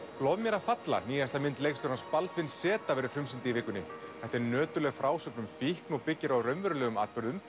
lof mér að falla nýjasta mynd leikstjórans Baldvin z verður frumsýnd í vikunni þetta er nöturleg frásögn um fíkn byggð á raunverulegum atburðum